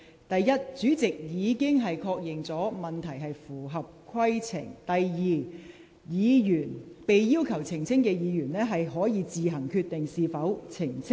第一，主席已確認有關的質詢合乎規程；第二，被要求澄清的議員可以自行決定是否作出澄清。